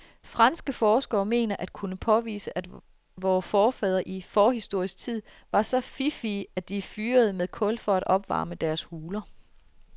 Franske forskere mener at kunne påvise, at vore forfædre i forhistorisk tid var så fiffige, at de fyrede med kul for at opvarme deres huler.